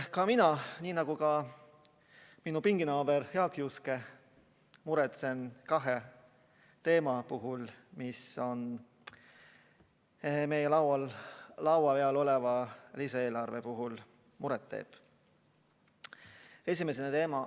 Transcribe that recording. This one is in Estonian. Ka mina, nii nagu minu pinginaaber Jaak Juske, räägin kahest teemast, mis meie laua peal oleva lisaeelarve puhul muret teevad.